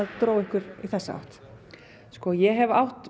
dró ykkur í þessa átt ég hef átt